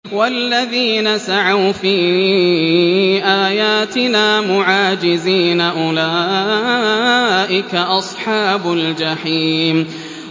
وَالَّذِينَ سَعَوْا فِي آيَاتِنَا مُعَاجِزِينَ أُولَٰئِكَ أَصْحَابُ الْجَحِيمِ